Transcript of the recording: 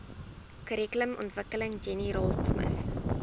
kurrikulumontwikkeling jenny raultsmith